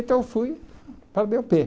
Então eu fui para a dê ó pê